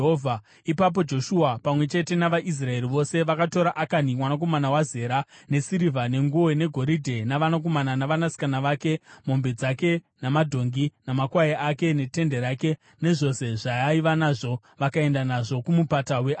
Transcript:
Ipapo Joshua, pamwe chete navaIsraeri vose vakatora Akani mwanakomana waZera, nesirivha, nenguo, negoridhe, navanakomana navanasikana vake, mombe dzake, nembongoro dzake namakwai ake, netende rake nezvose zvaaiva nazvo, vakaenda nazvo kuMupata weAkori.